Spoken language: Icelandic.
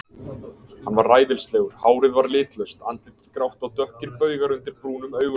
Hann var ræfilslegur, hárið var litlaust, andlitið grátt og dökkir baugar undir brúnum augunum.